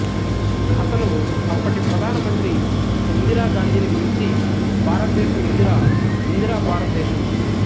అతను అప్పుటి ప్రధాన మంత్రి ఇందిరాగాంధీని గురించి భారతదేశం ఇందిరా ఇందిరా భారతదేశం